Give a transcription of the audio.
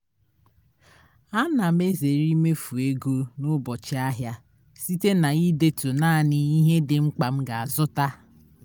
ana m ezere imefu ego n'ubochị ahịa site na idetu naanị ihe di mkpa m ga azụta